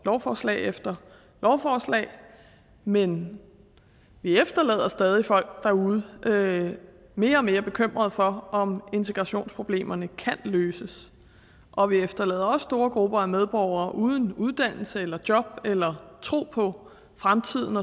lovforslag efter lovforslag men vi efterlader stadig folk derude mere og mere bekymrede for om integrationsproblemerne kan løses og vi efterlader også store grupper af medborgere uden uddannelse eller job eller tro på fremtiden